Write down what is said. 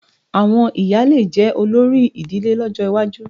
Àwọn ìyá lè jẹ́ olórí ìdílé lọ́jọ́ iwájú